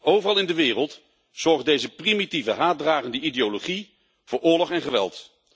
Overal in de wereld zorgt deze primitieve haatdragende ideologie voor oorlog en geweld.